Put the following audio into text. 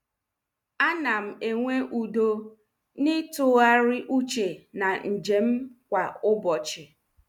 Anam enwe udo n'ịtụgharị uche na njem m kwa ụbọchị.